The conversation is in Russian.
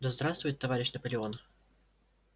да здравствует товарищ наполеон